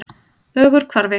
Ögurhvarfi